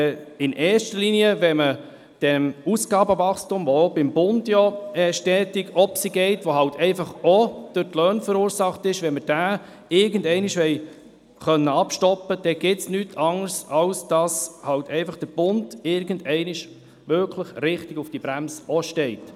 Will man in erster Linie das Ausgabenwachstum, welches auch beim Bund stetig steigt und das auch durch die Löhne verursacht wird, irgendwann stoppen, gibt es nichts anderes, als dass der Bund irgendwann einmal richtig auf die Bremse tritt.